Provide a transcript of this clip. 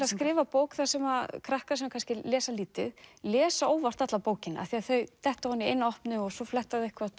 að skrifa bók sem krakkar sem lesa lítið lesa óvart alla bókina af því þau detta ofan í eina opnu og svo fletta þau